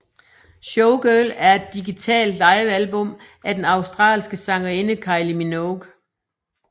Showgirl er et digital livealbum af den australske sangerinde Kylie Minogue